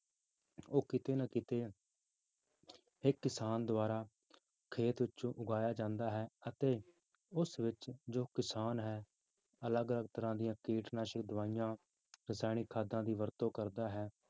ਉਹ ਕਿਤੇ ਨਾ ਕਿਤੇ ਇੱਕ ਕਿਸਾਨ ਦੁਆਰਾ ਖੇਤ ਵਿੱਚੋਂ ਉਗਾਇਆ ਜਾਂਦਾ ਹੈ ਅਤੇ ਉਸ ਵਿੱਚ ਜੋ ਕਿਸਾਨ ਹੈ ਅਲੱਗ ਅਲੱਗ ਤਰ੍ਹਾਂ ਦੀਆਂ ਕੀਟਨਾਸ਼ਕ ਦਵਾਈਆਂ, ਰਸਾਇਣਿਕ ਖਾਦਾਂ ਦੀ ਵਰਤੋਂ ਕਰਦਾ ਹੈ